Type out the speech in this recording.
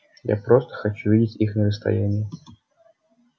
я просто хочу видеть их на расстоянии